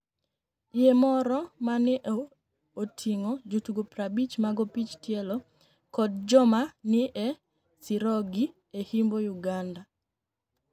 Yie moro ma ni e otinig'o jotugo 50 mag opich tielo koda joma ni e sirogi e imba Uganida.